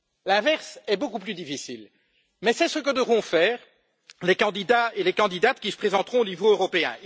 L'inverse est beaucoup plus difficile, mais c'est ce que devront faire les candidats et les candidates qui se présenteront au niveau européen.